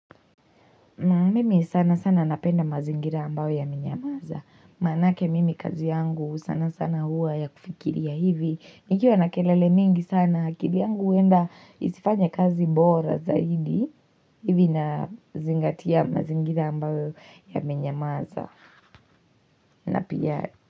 Mimi sana sana napenda mazingira ambayo yamenyamaza. Manake mimi kazi yangu sana sana hua ya kufikiria hivi. Nikiwa na kelele mingi sana. Kivyangu huwenda isifanye kazi bora zaidi. Hivi na zingatia mazingira ambayo yamenyamaza. Na pia.